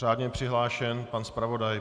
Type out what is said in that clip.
Řádně je přihlášen pan zpravodaj.